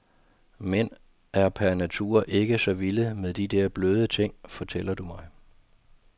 Mænd er per natur ikke så vilde med de der bløde ting, fortæller du mig.